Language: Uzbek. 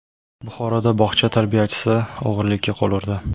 Buxoroda bog‘cha tarbiyachisi o‘g‘rilikka qo‘l urdi.